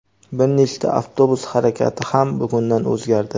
Bir nechta avtobus harakati ham bugundan o‘zgardi.